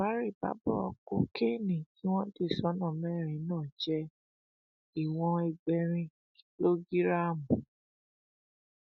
àbárèbábọ kokéènì tí wọn dì sọnà mẹrin náà jẹ ìwọn ẹgbẹrin kìlógíráàmù